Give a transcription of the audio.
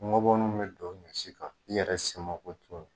Ngɔbɔninw bi don ɲɔsi kan i yɛrɛ se ma ko t'o la.